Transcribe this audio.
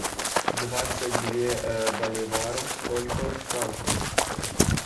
двадцать две боливаров сколько франков